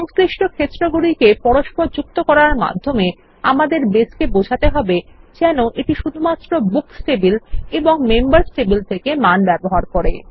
সংশ্লিষ্ট ক্ষেত্রগুলিকে পরস্পর যুক্ত করার মাধ্যমে আমাদের বেসকে বোঝাতে হবে যেন এটি শুধুমাত্র books table and members table থেকে মান ব্যবহার করে